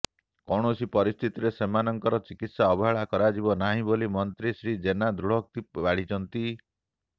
କୌଣସି ପରିସ୍ଥିତିରେ ସେମାନଙ୍କର ଚିକିତ୍ସା ଅବହେଳା କରାଯିବ ନାହିଁ ବୋଲି ମନ୍ତ୍ରୀ ଶ୍ରୀ ଜେନା ଦୃଢୋକ୍ତି ବାଢିଛନ୍ତି